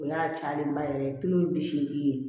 O y'a cayalenba yɛrɛ ye tulo ye bi seegin ye